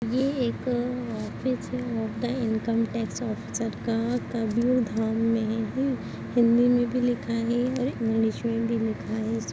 ये एक ऑफिस लगता है इनकम टैक्स ऑफिसर का कबीरधाम में है हिंदी में भी लिखा है इंग्लिश में भी लिखा है इस--